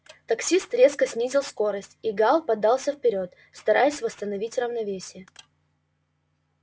таксист резко снизил скорость и гаал подался вперёд стараясь восстановить равновесие